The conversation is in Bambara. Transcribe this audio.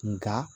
Nka